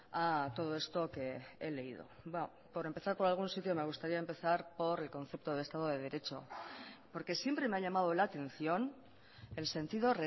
a todo esto que he leído por empezar por algún sitio me gustaría empezar por el concepto de estado de derecho porque siempre me ha llamado la atención el sentido